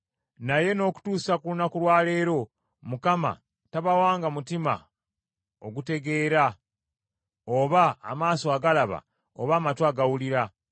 Naye n’okutuusa ku lunaku lwa leero Mukama tabawanga mutima ogutegeera, oba amaaso agalaba, oba amatu agawulira.